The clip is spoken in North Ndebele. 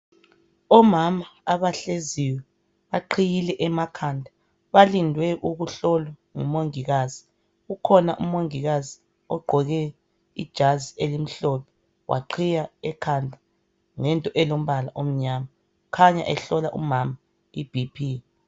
Omama abahleziyo. Baqhiyile emakhanda. Balindwe ukuhlolwa ngumongikazi. Ukhona umongikazi ogqoke ijazi elimhlophe waqhiya ekhanda ngento elombala omnyama. Kukhanya ehlola umama iBP.